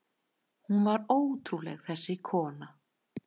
Hún var ótrúleg, þessi kona.